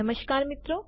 નમસ્કાર મિત્રો